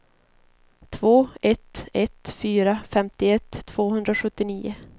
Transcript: två ett ett fyra femtioett tvåhundrasjuttionio